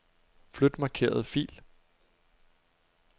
Flyt markerede fil.